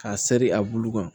K'a seri a bulu kan